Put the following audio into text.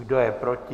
Kdo je proti?